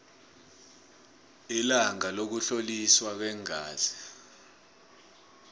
ilanga lokuhloliswa kweengazi